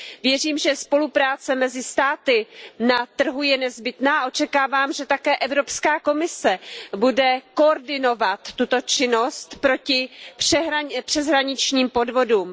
Věřím, že spolupráce mezi státy na trhu je nezbytná, a očekávám také, že Evropská komise bude koordinovat tuto činnost proti přeshraničním podvodům.